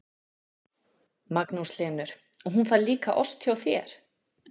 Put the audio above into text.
Magnús Hlynur: Og hún fær líka ost hjá þér?